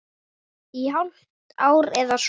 Í hálft ár eða svo.